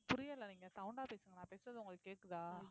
புரியல நீங்க sound ஆ பேசுங்க நான் பேசுறது உங்களுக்கு கேக்குதா